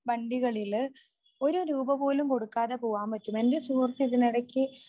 വണ്ടികളിൽ ഒരു രൂപപോലും കൊടുക്കാതെ പോകാൻ പറ്റും. എന്റെ സുഹൃത്ത് ഇതിനിടക്ക്